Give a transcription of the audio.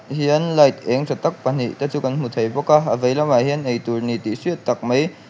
hian light eng tha tak pahnih te chu kan hmu bawka a veilam ah hian eitur nih tih hriat tak mai.